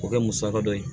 K'o kɛ musaka dɔ ye